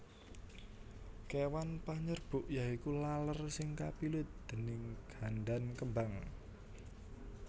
Kéwan panyerbuk yaiku laler sing kapilut déning gandan kembang